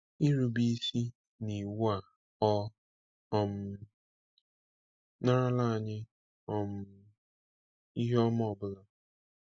Ịrube isi n’iwu a ọ um narala anyị um ihe ọma ọ bụla?